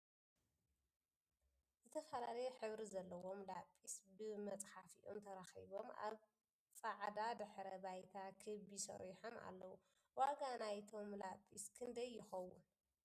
ዝተፈላለየ ሕብሪ ዘሎዎም ላፒስ ብ መፅሐፊኦም ተራኪቦም ኣብ ፅዕዳ ድሕረ ባይታ ክቢ ሰሪሖም ኣለዉ ። ዋጋ ናይቶም ላፒስ ክንደይ ይከውን ?